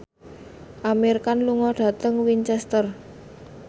Amir Khan lunga dhateng Winchester